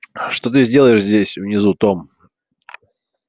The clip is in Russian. что ты делаешь здесь внизу том